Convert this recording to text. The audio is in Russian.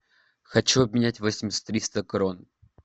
хочу обменять восемьдесят триста крон